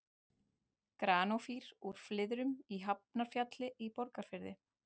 Granófýr úr Flyðrum í Hafnarfjalli í Borgarfirði.